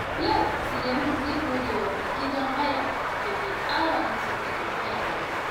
Yau, Sulaiman zai gode wa mai gidan haya da bai ƙara masa kuɗin haya ba.